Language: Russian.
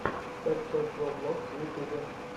фэтчер джо влогс в ютюбе